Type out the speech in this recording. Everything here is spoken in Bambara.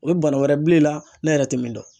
O ye bana wɛrɛ bile la n'e yɛrɛ tɛ min dɔn